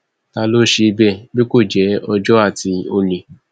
ta ló ń ṣe bẹẹ bí kò jẹ ọjọ àti olè